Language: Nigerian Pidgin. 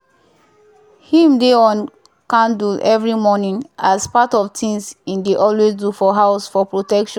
him dey on candle every morning as part of things him dey always do for house for protection